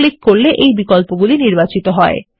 click করলেএই বিকল্পগুলি নির্বাচিত হয়